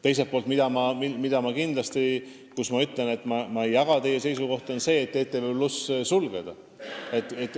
Teiselt poolt ma ei jaga kindlasti teie seisukohta, et ETV+ tuleks sulgeda.